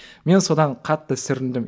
мен содан қатты сүріндім